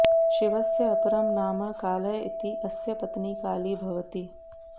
शिवस्य अपरं नाम कालः इति अस्य पत्नी काली भवति